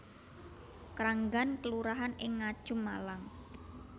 Kranggan kelurahan ing Ngajum Malang